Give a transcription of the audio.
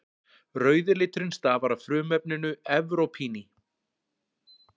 Rauði liturinn stafar af frumefninu evrópíni.